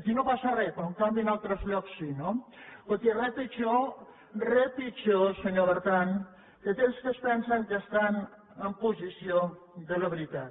aquí no passa re però en canvi en altres llocs sí no escolti re pitjor re pitjor senyor bertran que aquells que es pensen que estan en possessió de la veritat